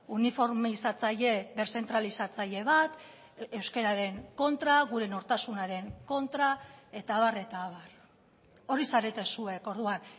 uniformizatzaile deszentralizatzaile bat euskararen kontra gure nortasunaren kontra eta abar eta abar hori zarete zuek orduan